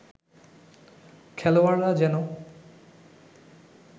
খেলোয়াড়রা যেন